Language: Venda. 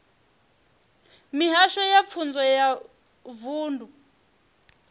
mihasho ya pfunzo ya vunḓu